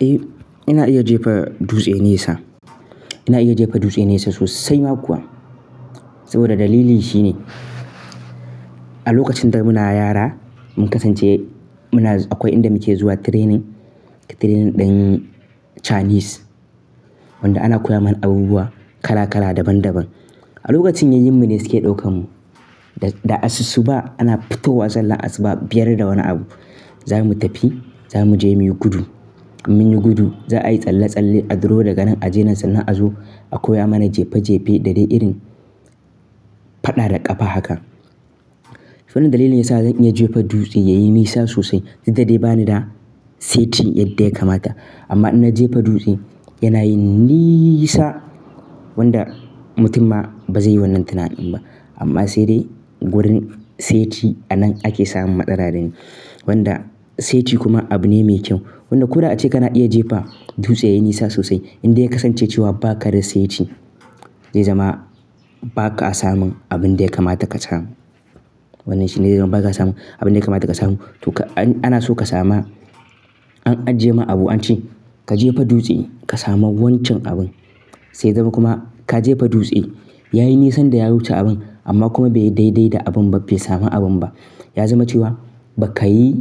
Eh ina iya jefa dutse nesa. Ina iya jefa dutse nesa sosai ma kuwa. Saboda dalili shine a lokacin da muna yara mun kasance muna akwai inda muke zuwa training, training ɗin Chinese wanda ana koya mana abubuwa kala kala daban daban. A lokacin yayyen mu ne suke ɗaukan mu da asusu ba ana fito wa sallah asuba biyar da wani abu za mu tafi za mu je muyi gudu. Munyi gudu za a yi tsalle tsalle a duro daga nan a je nan sannan a zo a koya mana jefe jefe da dai irin faɗa da ƙafa haka. Wannan dalilin yasa zan iya jefa dutse yayi nisa sosai. Duk da dai bani da seti yadda ya kamata amma in na jefa dutse yana yin niiisa wanda mutum ma ba zai yi wannan tunadin ba. Amma sai dai wurin seti a nan ake samun matsara dai ne. Wanda seti kuma abu ne mai kyau. Wannan kuna ace kana iya jefa dutse yayi nisa sosai in dai ka kasance cewa ba ka da seti. Zai zama ba ka samun abin da ya kamata ka samu. Wannan shi ne zai zama ba ka samun abin da ya kamata ka samu. To ka ana so ka sama an ajiye ma abu an ce ka jefa dutse ka samu wancan abun. Sai zama kuma ka jefa dutse yayi nisan da ya wuce abun amma kuma bai dai dai da abun ba bai samu abun ba. Ya zama cewa ba ka yi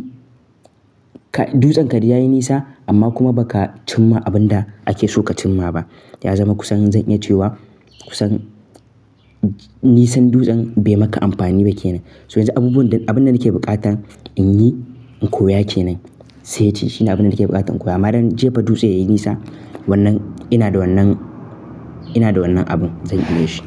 ka dutsen ka dai yayi nisa amma kuma ba ka cimma abun da ake so ka cimma ba. Ya zama kusan zan iya cewa kusan nisan dutsen bai maka amfani ba kenan. So yanzu abubuwan abun da nake buƙata in yi in koya kenan seti shine abunda nake buƙatan koya. Man in jefa dutse yayi nisa wannan ina da wannan ina da wannan abun zan iya shi.